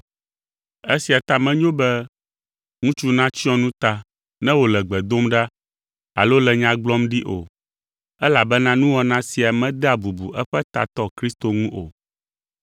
Esia ta menyo be ŋutsu natsyɔ nu ta ne wòle gbe dom ɖa alo le nya gblɔm ɖi o, elabena nuwɔna sia medea bubu eƒe tatɔ Kristo ŋu o.